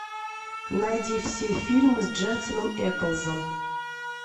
найди все фильмы с дженсеном эклсом